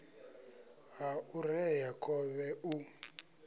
ha u rea khovhe u